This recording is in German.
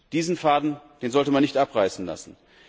Diesen Faden sollte man nicht abreißen lassen.